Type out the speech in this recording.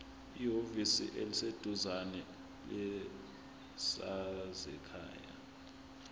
ehhovisi eliseduzane lezasekhaya